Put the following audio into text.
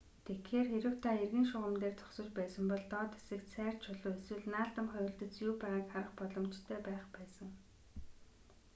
тэгэхээр хэрэв та эргийн шугам дээр зогсож байсан бол доод хэсэгт сайр чулуу эсвэл наалдамхай үлдэц юу байгааг харах боломжтой байх байсан